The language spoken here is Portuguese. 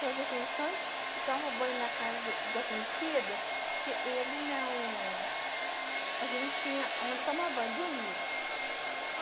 Fazia refeições e tomava banho na casa de alguém cedo, porque ele não... A gente não tinha onde tomar banho, dormia.